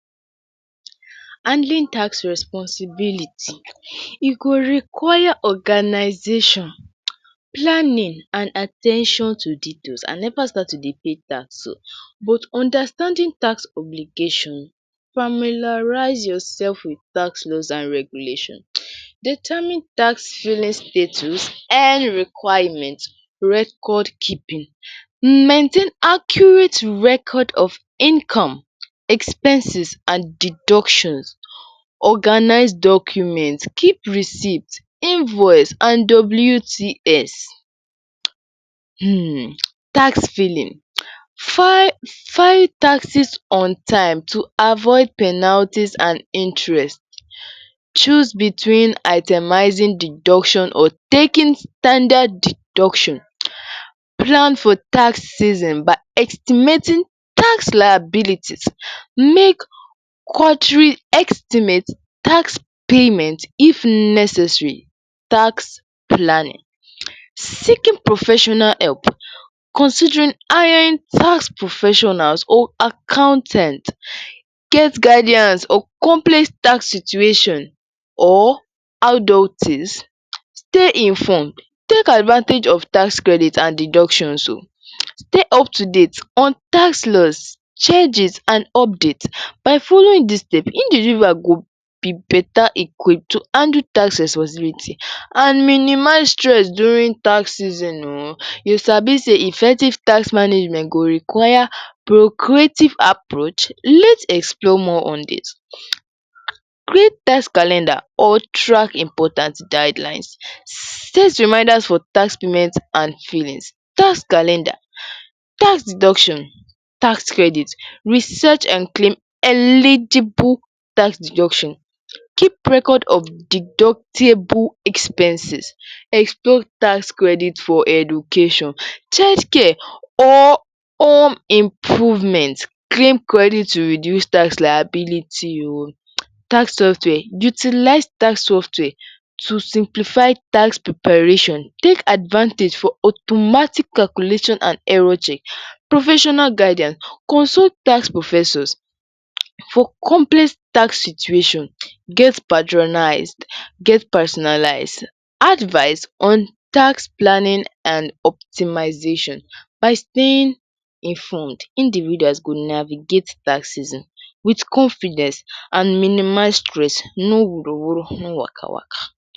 Handling tax responsibility. E go require organisation, planning and at ten tion to detaills. I never start to dey pay tax oo but understanding tax obligation, familiarise yourself wit tax rules and regulations determine tax filling status, earn requirement, record keeping; maintain accurate record of income, expenses and deductions, organize documents, keep receipts, invoice and WTS, um. Tax filling, file taxes on time to avoid penalties and interest; choose between itemizing deduction or taking standard deduction. Plan for tax season by estimating tax liabilities, make ordering estimate, tax payment if necessary. Tax planning; seeking professional help, considering hiring tax professionals or accountant, get guidance or complex tax situation or?. Stay informed, take advantage of tax credit or deductions oo. Stay up to date on tax laws, charges and update. By following dis step individual go be better? to handle tax responsibility and minimize stress during tax season oo. You sabi sey effective tax management go require procreative approach. Let's explore more on this: create tax calendar or track important guidelines, set reminders for tax and fillings, tax calender, tax deductions, tax credit, research and claim eligible tax deduction. Keep record of deductible expenses, explore tax credit for education, children care or home improvement. Claim credit to improve tax liability oo. Tax software; utilize tax software to simplify tax preparation. Take advantage of automatic calculation and error check. Professional guidance, consult tax professor for complex tax situation. Get patronised, get personalized advice on tax planning and optimization. By staying informed, individuals go navigate tax season wit confidence and minimize stress, no wuru wuru no waka waka.